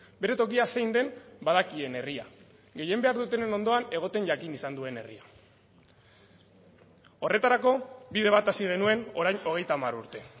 bere tokia zein den badakien herria gehien behar dutenen ondoan egoten jakin izan duen herria horretarako bide bat hasi genuen orain hogeita hamar urte